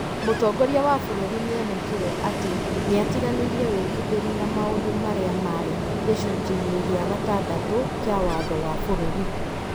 Mũtongoria wa bũrũri nĩ onekire atĩ nĩ atiganĩirie wĩkindĩru na maũndũ marĩa marĩ gĩcunjĩ-inĩ gĩa gatandatũ kĩa watho wa bũrũri.